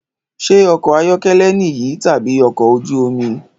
Ṣé ọkọ̀ ayọ́kẹ́lẹ́ niyi tabi ọkọ̀ ojú omi?